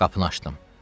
Qapını açdım.